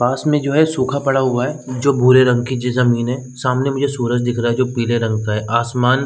पास में जो है सूखा पड़ा हुआ है जो भूरे रंग की की ज जमीन है सामने मुझे सूरज दिख रहा है जो पीले रंग का है आसमान --